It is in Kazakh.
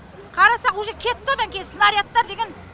қарасақ уже кетті одан кейін снарядтар деген